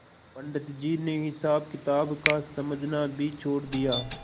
पंडित जी ने हिसाबकिताब का समझना भी छोड़ दिया